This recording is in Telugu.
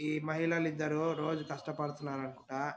ఈ మహిళలు ఇద్దరూ రోజూ కష్టపడుతున్నారు అనుకుంటా.